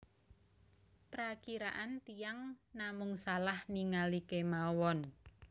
Prakiraan tiyang namung salah ningali kemawon